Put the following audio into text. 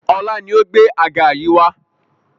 Ọlá ni ó gbé àga yìí wá lànà